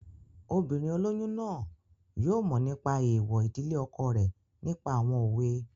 Obìnrin olóyún náà yóò mọ̀ nípa èèwọ̀ ìdílé ọkọ rẹ̀ nípa àwọn òwe